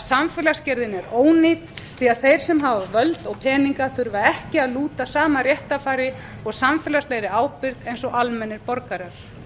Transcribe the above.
samfélagsgerðin er ónýt því að þeir sem hafa völd og peninga þurfa ekki að lúta sama réttarfari og samfélagslegri ábyrgð og almennir borgarar